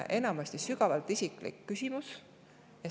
Enamasti on see sügavalt isiklik küsimus.